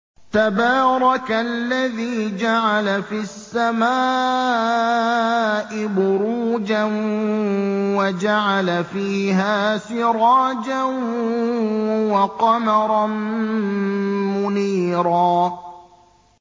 تَبَارَكَ الَّذِي جَعَلَ فِي السَّمَاءِ بُرُوجًا وَجَعَلَ فِيهَا سِرَاجًا وَقَمَرًا مُّنِيرًا